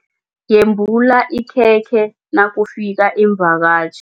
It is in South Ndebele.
Yembula ikhekhe nakufika iimvakatjhi.